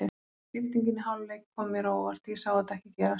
Skiptingin í hálfleik kom mér á óvart, ég sá þetta ekki gerast.